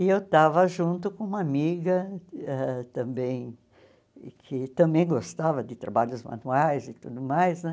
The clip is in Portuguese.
E eu estava junto com uma amiga ãh também, que também gostava de trabalhos manuais e tudo mais, né?